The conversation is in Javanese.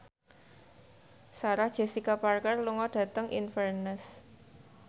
Sarah Jessica Parker lunga dhateng Inverness